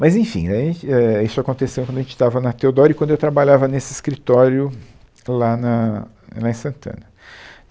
Mas, enfim, aí, é, isso aconteceu quando a gente estava na Teodoro e quando eu trabalhava nesse escritório lá na lá em Santana.